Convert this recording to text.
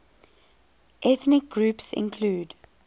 ethnic groups include